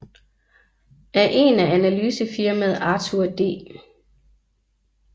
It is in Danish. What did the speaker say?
Af en af analysefirmaet Arthur D